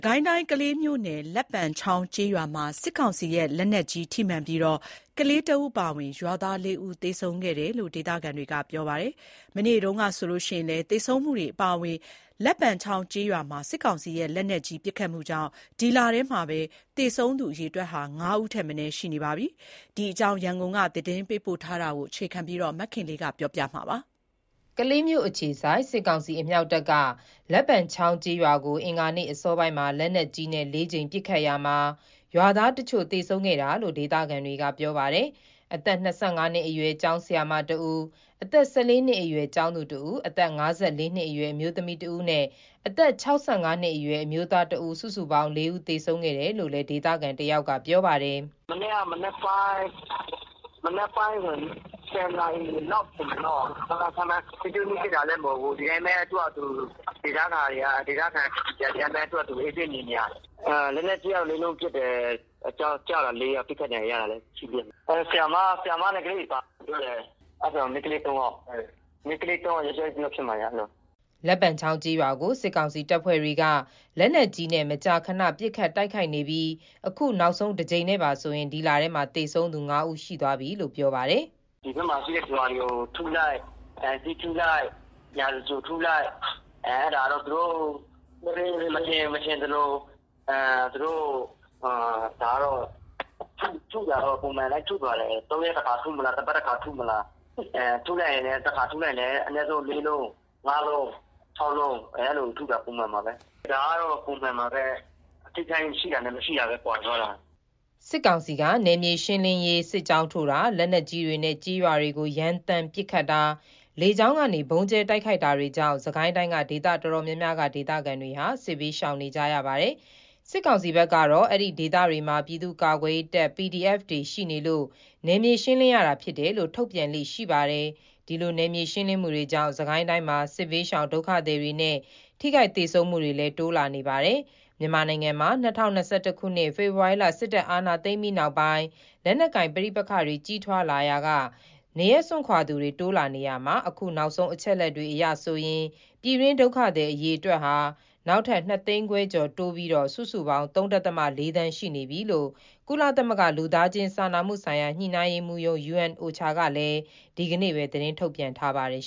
ကိုင်းတိုင်း ကလေးမြို့နယ်၊ လက်ပံချောင်းကျေးရွာမှာ စစ်ကောင်စီရဲ့ လက်နက်ကြီးထိမှန်ပြီး ကလေးတဦးအပါအဝင် ရွာသား ၄ ဦး သေဆုံးခဲ့တယ်လို့ ဒေသခံတွေက ပြောပါတယ်။ မနေ့တုန်းက သေဆုံးမှုတွေအပါအဝင်လက်ပံချောင်းကျေးရွာမှာ စစ်ကောင်စီရဲ့ လက်နက်ကြီးပစ်ခတ်မှုကြောင့် ဒီလထဲမှာ သေဆုံးသူ ၅ ဦးထက်မနည်း ရှိနေပြီလို့လည်း ပြောပါတယ်။ လက်နက်ကိုင် တိုက်ပွဲတွေကြား အရပ်သားသေဆုံးမှုတွေနဲ့ ပတ်သက်လို့ ရန်ကုန်ကသတင်းပေးပို့ ထားတာကို အခြေခံပြီး မခင်လေး တင်ပြထားပါတယ်။ ကလေးမြို့အခြေစိုက် စစ်ကောင်စီ အမြောက်တပ်က လက်ပံချောင်းကျေးရွာကို အင်္ဂါနေ့အစောပိုင်းမှာ လက်နက်ကြီးနဲ့၄ ကြိမ် ပစ်ခတ်ခဲ့ရာမှာ ရွာသားတချို့ သေဆုံးခဲ့တာလို့ ဒေသခံတွေက ပြောပါတယ်။ အသက် ၂၅ နှစ်အရွယ်ကျောင်းဆရာမတဦး၊ အသက် ၁၄ နှစ်အရွယ် ကျောင်းသူတဦး၊ အသက် ၅၄ နှစ်အရွယ် အမျိးသမီးတဦးနဲ့၊ အသက် ၆၅နှစ်အရွယ် အမျိုးသားတဦး စုစုပေါင်း ၄ ဦး သေဆုံးခဲ့တယ်လို့လည်း ဒေသခံတယောက်က ပြောပါတယ်။ “မနေ့က မနက်ပိုင်း ၁၀ နာရီလောက် ထင်တာပေါ့ ခန့်မှန်း၊ ထိတွေ့မှု ရှိတာလည်း မဟုတ်ဘူး။ သူ့ဟာသူ ဒေသခံတွေကဒီတိုင်းပဲ အေးဆေး နေနေတာ။ လက်နက်ကြီးကတော့ ၄ လုံးပစ်တယ်။ ကျတာ။ ၄ ယောက်၊ ထိခိုက် ဒဏ်ရာရကြတာတွေလည်း ရှိသေးတယ်။ ဆရာမနဲ့ ကလေးတွေ ပါတယ်လို့လည်း ကြားတယ်။ မိန်းကလေး ၃ ယောက်ယောက်ျား ၁ ယောက် ဖြစ်မယ်ဗျ အဲ့လို။” လက်ပံချောင်း ကျေးရွာကို စစ်ကောင်စီတပ်ဖွဲ့တွေက လက်နက်ကြီးနဲ့ မကြာခဏ ပစ်ခတ်တိုက်ခိုက် နေပြီး အခုနောက်ဆုံးတကြိမ်နဲ့ပါဆိုရင် ဒီလထဲမှာ သေဆုံးသူ ၅ ဦး ရှိသွားပြီလို့လည်းပြောပါတယ်။ “ဒီဘက်မှာ ရှိတဲ့ရွာတွေကို ထုလိုက်။ ပြီးရင် နားလိုက်။ ပြီးရင် ပြန်ထုလိုက်နဲ့ အဲ့ဒါကတော့ သူတို့ မထင်ရင် မထင်သလိုထုတာက သူတို့ ပုံမှန်ထုပါတယ်။ ၃ ရက်တခါထုမလား။ တပတ်တခါ ထုမလား။ တခါထုရင် အနည်းဆုံး ၄ လုံး၊ ၅ လုံး၊၆ လုံး၊ အဲ့လို ထုတာ ပုံမှန်ပါပဲ။ ဒါက ပုံမှန်ပါပဲ အထိအခိုက် ရှိတာနဲ့ မရှိတာပဲ ကွာသွားတာ။” စစ်ကောင်စီက နယ်မြေရှင်းလင်းရေး စစ်ကြောင်းထိုးတာ၊ လက်နက်ကြီးတွေနဲ့ ကျေးရွာတွေကို ရမ်းသမ်း ပစ်ခတ်တာ၊လေကြောင်းကနေ ဗုံးကြဲတိုက်ခိုက်တာတွေကြောင့် စစ်ကိုင်းတိုင်းက ဒေသအတော်များများက ဒေသခံတွေဟာ စစ်ဘေးရှောင်နေကြရပါတယ်။ စစ်ကောင်စီဘက်ကတော့ အဲ့ဒီဒေသတွေမှာ ပြည်သူ့ကာကွယ်ရေးတပ် PDF တွေရှိနေလို့နယ်မြေရှင်းလင်းရတာဖြစ်တယ်လို့ ထုတ်ပြန်လေ့ရှိပါတယ်။ ဒီလို နယ်မြေရှင်းလင်းမှုတွေကြောင့် စစ်ကိုင်းတိုင်းမှာ စစ်ဘေးရှောင် ဒုက္ခသည်တွေနဲ့ ထိခိုက်သေဆုံးမှုတွေလည်း တိုးလာနေပါတယ်။ မြန်မာနိုင်ငံမှာ ၂၀၂၁ ခုနှစ် ဖေဖော်ဝါရီလ စစ်တပ်က အာဏာသိမ်းပြီးနောက်ပိုင်း လက်နက်ကိုင် ပဋိပက္ခတွေ ကြီးထွားလာရာက နေရပ်စွန့်ခွာရသူတွေ တိုးလာနေရာမှာ အခုနောက်ဆုံး အချက်အလက်တွေအရ ပြည်တွင်းဒုက္ခသည်အရေအတွက်ဟာ နောက်ထပ် ၂ သိန်းခွဲကျော် တိုးပြီး စုစုပေါင်း ၃.၄ သန်း ရှိနေပြီလို့ ကုလသမဂ္ဂ လူသားချင်းစာနာမှုဆိုင်ရာ ညှိနှိုင်းရေးမှူးရုံး ကလည်း ဒီကနေ့ပဲ သတင်းထုတ်ပြန်ထားပါတယ်